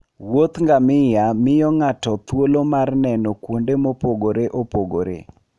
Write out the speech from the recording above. Wuoth ngamia miyo ng'ato thuolo mar neno kuonde mopogore opogore.